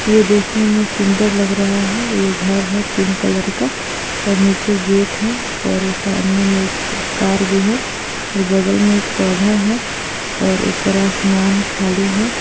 ये देखने म इ सुन्दर लग रहा है| ये घर है पिब्क कलर का और निचे गेट है और सामने में कार भी है नार अगल बगल में पोधा है और ऊपर आसमान खली हे |